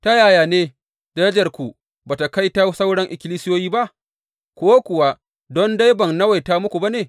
Ta yaya ne darajarku ba tă kai ta sauran ikkilisiyoyi ba, ko kuwa don dai ban nawaita muku ba ne?